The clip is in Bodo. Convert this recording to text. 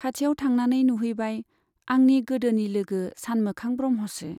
खाथियाव थांनानै नुहैबाय, आंनि गोदोनि लोगो सानमोखां ब्रह्मसो।